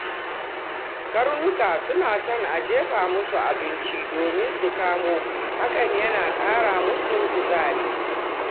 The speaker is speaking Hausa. Karnuka suna son a jefa musu abinci domin su kamo, hakan yana ƙara musu kuzari.